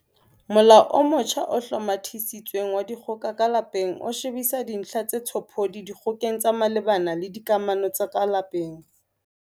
Molao o motjha o Hlomathisitsweng wa Dikgoka ka Lapeng o shebisisa dintlha tse tshophodi dikgokeng tse malebana le dikamano tsa ka lapeng.